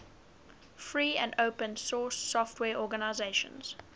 free and open source software organizations